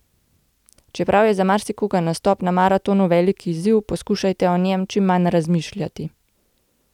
Čeprav je za marsikoga nastop na maratonu velik izziv, poskušajte o njem čim manj razmišljati.